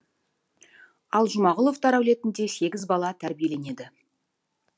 ал жұмағұловтар әулетінде сегіз бала тәрбиеленеді